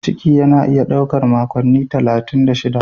Ciki yana iya ɗaukar makonni talatin da shida.